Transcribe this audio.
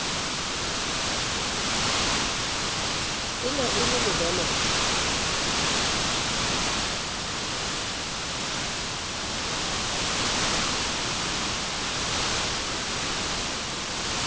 e ne e le lebelete